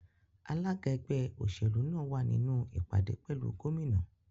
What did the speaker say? Alája ẹgbẹ́ òṣèlú náà wà nínú ìpàdé pẹ̀lú Gómìnà